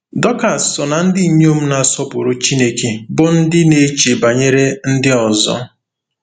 Dọkas so ná ndị inyom na-asọpụrụ Chineke bụ́ ndị na-eche banyere ndị ọzọ.